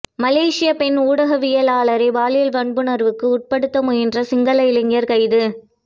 மலேசியப் பெண் ஊடகவியலாளரை பாலியல் வன்புணர்வுக்கு உட்படுத்த முயன்ற சிங்கள இளைஞர் கைது